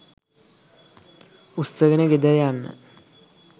උස්සගෙන ගෙදර යන්න